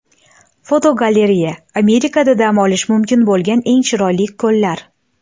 Fotogalereya: Amerikada dam olish mumkin bo‘lgan eng chiroyli ko‘llar.